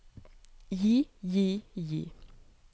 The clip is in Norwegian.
gi gi gi